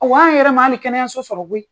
O an' yɛrɛ ma hali kɛnɛyaso sɔrɔ koyi!